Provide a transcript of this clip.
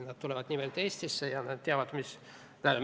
Nad tulevad nimelt Eestisse ja nad teavad, mida see tähendab.